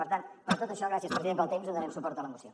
per tant per tot això gràcies president pel temps donarem suport a la moció